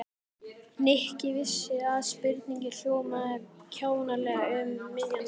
Nikki vissi að spurningin hljómaði kjánalega um miðja nótt.